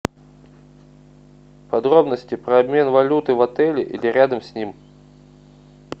подробности про обмен валюты в отеле или рядом с ним